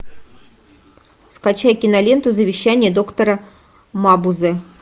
скачай киноленту завещание доктора мабузе